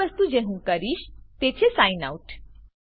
પહેલી વસ્તુ જે હું કરીશ તે છે સાઇન આઉટ